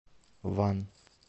ван